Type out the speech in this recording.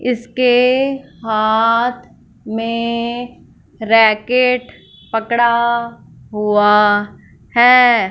इसके हाथ में रैकेट पकड़ा हुआ है।